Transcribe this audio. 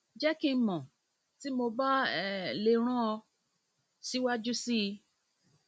jẹ ki n mọ ti mo ba um le ran ọ siwaju sii um